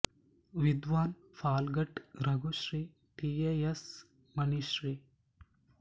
Vidwan Palghat Raghu Shri T A S Mani Shri